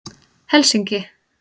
Helsinki